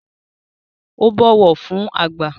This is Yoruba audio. Ó bọ̀wọ̀ fún àgbà